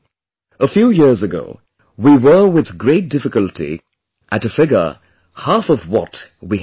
A few years ago, we were with great difficulty at a figure half of what we have at present